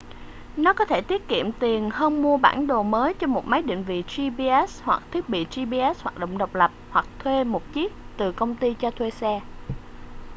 nó có thể tiết kiệm tiền hơn mua bản đồ mới cho một máy định vị gps hoặc thiết bị gps hoạt động độc lập hoặc thuê một chiếc từ công ty cho thuê xe